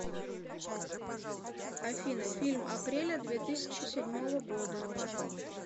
афина фильм апреля две тысячи седьмого года